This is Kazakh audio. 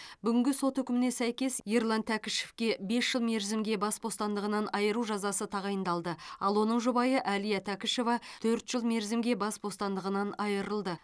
бүгінгі сот үкіміне сәйкес ерлан тәкішевке бес жыл мерзімге бас бостандығынан айыру жазасы тағайындалды ал оның жұбайы әлия тәкішева төрт жыл мерзімге бас бостандығынан айырылды